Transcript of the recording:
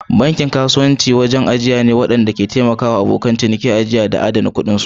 Bankin kasuwanci wajen ajiya ne waɗanda ke taimaka wa abokan ciniki ajiya da adana kuɗinsu.